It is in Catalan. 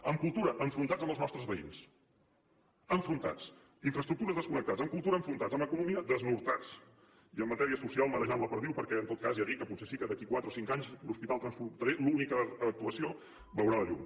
en cultura enfrontats amb els nostres veïns enfrontats en infraestructures desconnectats en cultura enfrontats en economia desnortats i en matèria social marejant la perdiu perquè en tot cas ja dic que potser sí que d’aquí a quatre o cinc anys l’hospital transfronterer l’única actuació veurà la llum